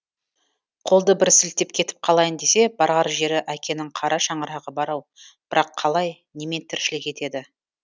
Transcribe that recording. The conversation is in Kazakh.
қолды бір сілтеп кетіп қалайын десе барар жері әкенің қара шаңырағы бар ау бірақ қалай немен тіршілік етеді